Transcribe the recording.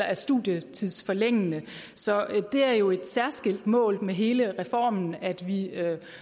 er studietidsforlængende så det er jo et særskilt mål med hele reformen at vi